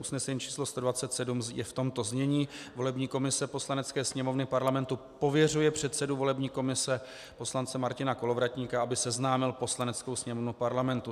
Usnesení číslo 127 je v tomto znění: Volební komise Poslanecké sněmovny Parlamentu pověřuje předsedu volební komise poslance Martina Kolovratníka, aby seznámil Poslaneckou sněmovnu Parlamentu